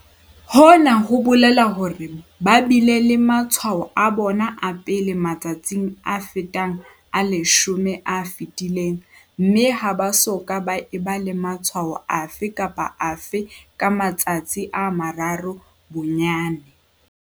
Hona ho bolela hore ba bile le matshwao a bona a pele matsatsing a fetang a 10 a fetileng mme ha ba soka ba eba le matshwao afe kapa afe ka matsatsi a mararo bonyane.